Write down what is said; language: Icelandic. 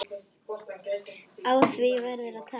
Á því verður að taka.